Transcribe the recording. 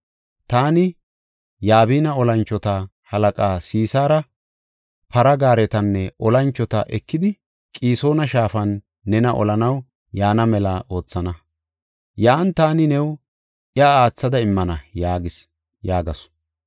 Taani Yabina tora moconata Sisaari para gaaretanne olanchota ekidi, Qisoona shaafan nena olanaw yaana mela oothana. Yan taani new iya aathada immana’ yaagees” yaagasu.